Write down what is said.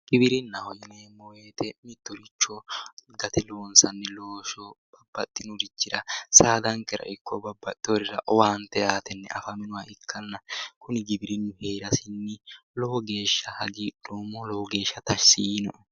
Giwirinnaho yineemmo woyite mittoricho saadankera ikko nabaxeworirra owaante aatenni afantewore ikanna kuri giwirinna la'atenni lowontanni tashshi tiinoe